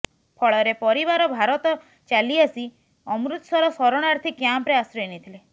ଫଳରେ ପରିବାର ଭାରତ ଚାଲିଆସି ଅମୃତସର ଶରଣାର୍ଥୀ କ୍ୟାମ୍ପରେ ଆଶ୍ରୟ ନେଇଥିଲେ